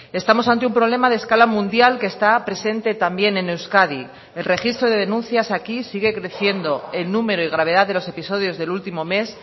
estamos ante un problema de escala mundial que está presente también en euskadi el registro de denuncias aquí sigue creciendo el número y gravedad de los episodios del último mes